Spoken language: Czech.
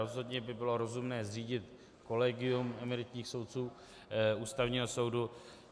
Rozhodně by bylo rozumné zřídit kolegium emeritních soudců Ústavního soudu.